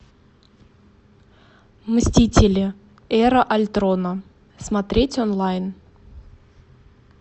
мстители эра альтрона смотреть онлайн